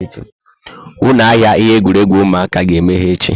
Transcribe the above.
Ụlọ ahịa ihe egwuregwu ụmụaka ga-emeghe echi.